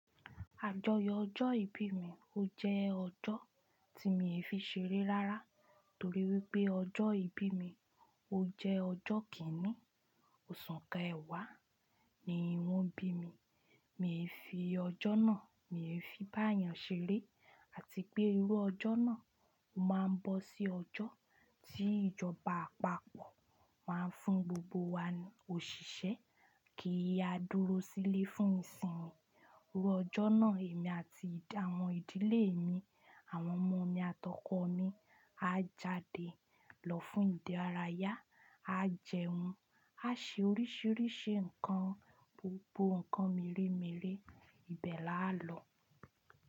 Àjọyọ̀ ọjọ́ ìbí mi ó jẹ́ ọjọ́ tí mi ò fi ṣeré rárá torí wípé ọjọ́ ìbí mi ó jẹ́ ọjọ́ kíni, oṣù kẹ̀wá ni wón bí mi. Mi fi ọjọ́ náà, mi fi báyẹn ṣeré àti pé irú ọjọ́ náà ó máa ń bọ́ sí ọjọ́ tí ìjọba àpapọ̀ máa ń fún gbogbo wa òṣìṣẹ́ kí a dúró sílé fún ìsinmi. Irú ọjọ́ náà èmi àti àwọn ìdílé mi, àwọn ọmọ mi àtọkọ̀ mi á jáde lọ fún ìdárayá, á jẹun, á ṣe oríṣiríṣi nǹkan, gbogbo nǹkan mèremère, ibẹ̀ la á lọ.